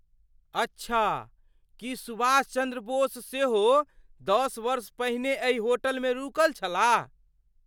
अच्छा! की सुभाष चन्द्र बोस सेहो दश वर्ष पहिने एहि होटलमे रुकल छलाह?